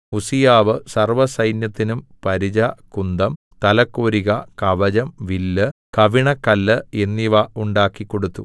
ഉസ്സീയാവ് സർവ്വസൈന്യത്തിനും പരിച കുന്തം തലക്കോരിക കവചം വില്ല് കവിണക്കല്ല് എന്നിവ ഉണ്ടാക്കിക്കൊടുത്തു